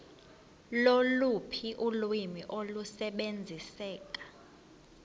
loluphi ulwimi olusebenziseka